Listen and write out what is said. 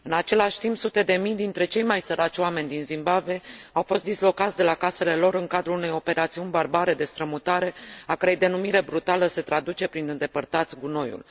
În același timp, sute de mii dintre cei mai săraci oameni din Zimbabwe au fost dislocați de la casele lor în cadrul unei operațiuni barbare de strămutare a cărei denumire brutală se traduce prin Îndepărtați gunoiul!.